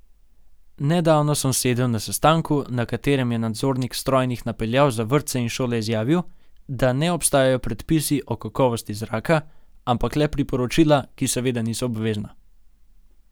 Nedavno sem sedel na sestanku, na katerem je nadzornik strojnih napeljav za vrtce in šole izjavil, da ne obstajajo predpisi o kakovosti zraka, ampak le priporočila, ki seveda niso obvezna.